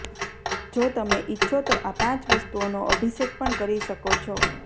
જો તમે ઈચ્છો તો આ પાંચ વસ્તુઓનો અભિષેક પણ કરી શકો છો